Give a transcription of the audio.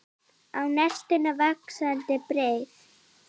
Á nesinu er vaxandi byggð.